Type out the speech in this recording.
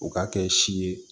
U ka kɛ si ye